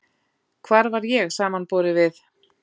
Hver var ég samanborið við